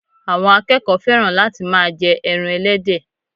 àwọn akẹẹkọ fẹ́ràn láti ma jẹ ẹran ẹlẹ́dẹ̀